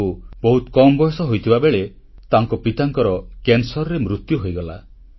ତାଙ୍କୁ ବହୁତ କମ୍ ବୟସ ହୋଇଥିବା ବେଳେ ତାଙ୍କ ପିତାଙ୍କର କ୍ୟାନସରରେ ମୃତ୍ୟୁ ହୋଇଗଲା